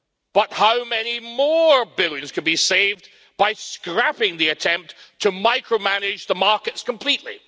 But how many more billions could be saved by scrapping the attempt to micromanage the markets completely?